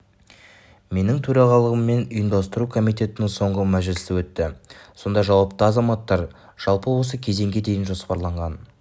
менің төрағалығыммен ұйымдастыру комитетінің соңғы мәжілісі өтті сонда жауапты азаматтар жалпы осы кезеңге дейін жоспарланған